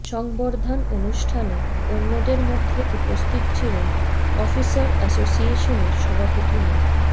সংবর্ধান অনুষ্ঠানে অন্যদের মধ্যে উপস্থিত ছিলেন অফিসার অ্যাসোসিয়েশনের সভাপতি মো